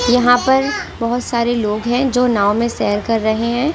यहां पर बहुत सारे लोग हैं जो नाव में शेयर कर रहे हैं ।